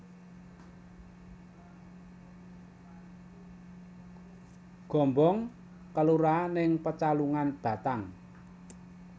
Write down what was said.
Gombong kelurahan ing Pecalungan Batang